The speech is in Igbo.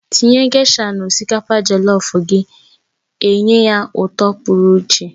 Tinye gésha na osikapa jellof gị enye ya ụtọ pụrụ iche